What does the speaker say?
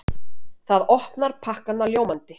Það opnar pakkana ljómandi.